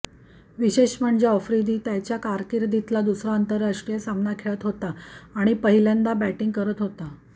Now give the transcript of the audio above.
विशेष म्हणजे आफ्रिदी त्याच्या कारकिर्दीतला दुसरा आंतरराष्ट्रीय सामना खेळत होता आणि पहिल्यांदा बॅटिंग करत होता